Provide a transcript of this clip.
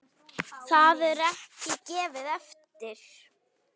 Það var ekki gefið eftir.